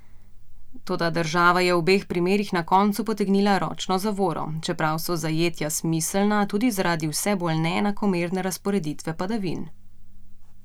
Toda država je v obeh primerih na koncu potegnila ročno zavoro, čeprav so zajetja smiselna tudi zaradi vse bolj neenakomerne razporeditve padavin.